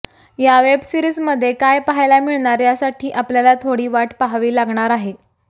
या वेबसिरीजमध्ये काय पाहायला मिळणार यासाठी आपल्याला थोडी वाट पाहावी लागणार आहे